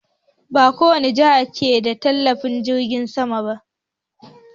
Ba kowane jiha ke da filin jirgin sama ba.